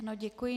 Ano, děkuji.